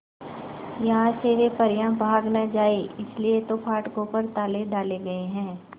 यहां से वे परियां भाग न जाएं इसलिए तो फाटकों पर ताले डाले गए हैं